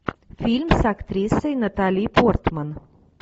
фильм с актрисой натали портман